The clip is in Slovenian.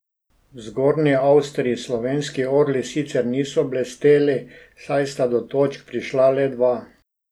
V Zgornji Avstriji slovenski orli sicer niso blesteli, saj sta do točk prišla le dva.